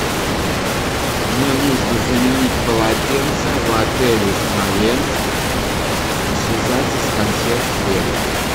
мне нужно заменить полотенца в отеле смоленск и связаться с консьерж сервисом